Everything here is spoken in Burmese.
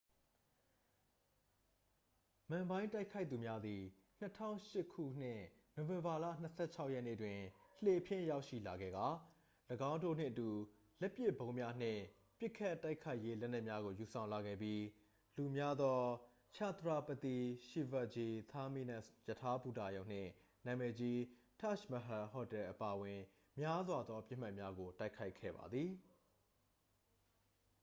မန်ဘိုင်း တိုက်ခိုက်သူများသည် 2008 ခုနှစ် နိုဝင်ဘာလ 26 ရက်နေ့တွင် လှေဖြင့် ရောက်ရှိလာခဲ့ကာ ၎င်းတို့နှင့်အတူ လက်ပစ်ဗုံးများနှင့် ပစ်ခတ်တိုက်ခိုက်ရေးလက်နက်များကို ယူဆောင်လာခဲ့ပြီး လူများသော chhatrapati shivaji terminus ရထားဘူတာရုံနှင့် နာမည်ကြီး taj mahal ဟိုတယ်အပါအဝင် များစွာသောပစ်မှတ်များကို တိုက်ခိုက်ခဲ့ပါသည်